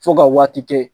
Fo ka waati kɛ